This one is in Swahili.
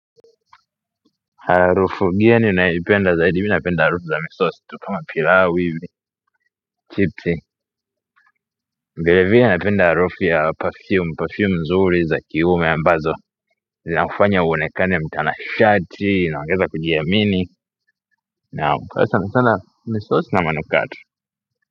Harufu gani nayoipenda zaidi mi napenda harufu za misosi tu kama pilau hivi, chipsi vile vile napenda harufu ya parfume, parfume mzuri za kiume ambazo zinafanya uonekane mtanashati, inaongeza kujiamini naam kwa sana sana misosi na manukato.